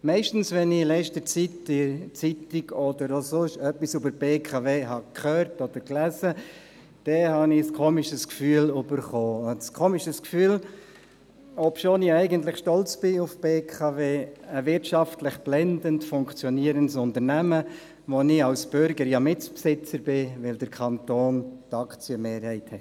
Meistens wenn ich in der letzten Zeit in der Zeitung etwas über die BKW gelesen oder auch sonst etwas gehört habe, hatte ich ein eigenartiges Gefühl – ein eigenartiges Gefühl, obschon ich eigentlich stolz bin auf die BKW, ein wirtschaftlich blendend funktionierendes Unternehmen, dessen Mitbesitzer ich als Bürger bin, weil der Kanton Bern die Aktienmehrheit hat.